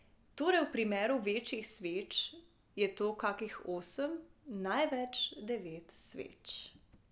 Torej v primeru večjih sveč je to kakih osem, največ devet sveč.